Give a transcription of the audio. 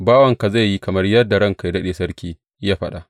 Bawanka zai yi kamar yadda ranka yă daɗe sarki, ya faɗa.